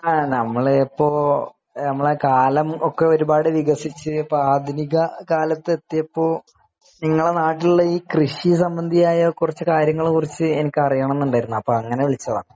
നമ്മൾ ഇപ്പൊ നമ്മുടെ കാലമൊക്കെ ഒരുപാട് വികസിച്ച് ആധുനിക കാലത്ത് എത്തിയെപ്പോ നിങ്ങളുടെ നാട്ടിലുള്ള കൃഷി സംബന്ധിയായ കുറച്ച് കാര്യങ്ങൾ എനിക്ക് അറിയണമെന്നുണ്ടായിരുന്നു അപ്പൊ അങ്ങനെ വിളിച്ചതാണ്